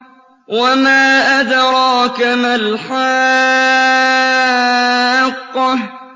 وَمَا أَدْرَاكَ مَا الْحَاقَّةُ